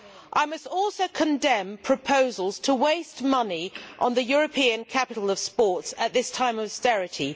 I must also condemn the proposals to waste money on the European capital of sport at this time of austerity.